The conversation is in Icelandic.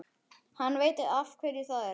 Hann veit af hverju það er.